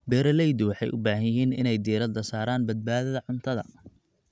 Beeraleydu waxay u baahan yihiin inay diiradda saaraan badbaadada cuntada.